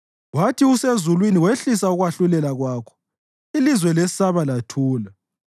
Wathi usezulwini wehlisa ukwahlulela kwakho, ilizwe lesaba lathula,